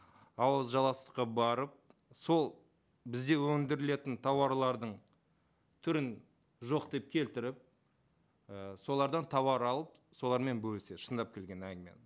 ауызжаластыққа барып сол бізде өндірілетін тауарлардың түрін жоқ деп келтіріп і солардан тауар алып солармен бөліседі шындап келген әңгіме енді